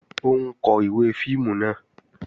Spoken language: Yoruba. Ó ń kó ìwé fíìmù náà